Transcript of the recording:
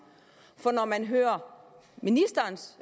for når man hører ministerens